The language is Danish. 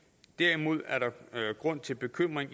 derimod er der grund til bekymring